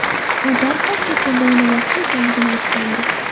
U darhol chet elda o‘ynamoqchi ekanligini aytgandi.